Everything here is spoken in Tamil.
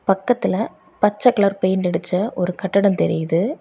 பக்கத்துல பச்சை கலர் பெயிண்ட் அடிச்ச ஒரு கட்டடம் தெரியுது.